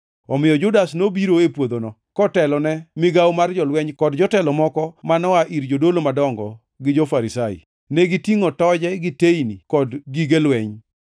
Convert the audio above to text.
Omiyo Judas nobiro e puodhono, kotelone migawo mar jolweny kod jotelo moko ma noa ir jodolo madongo gi jo-Farisai. Negitingʼo toje gi teyni kod gige lweny.